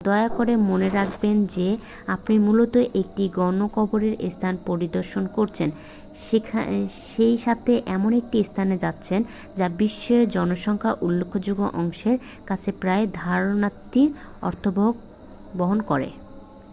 দয়া করে মনে রাখবেন যে আপনি মূলত একটি গণকবরের স্থান পরিদর্শন করছেন সেইসাথে এমন একটি স্থানে যাচ্ছেন যা বিশ্বের জনসংখ্যার উল্লেখযোগ্য অংশের কাছে প্রায় ধারণাতীত অর্থবহন করে